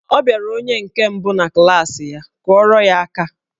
Ọ bịara onye nke mbụ na klaasị ya, kụọrọ ya aka!